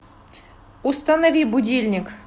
установи будильник